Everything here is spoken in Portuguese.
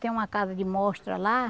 Tem uma casa de mostra lá.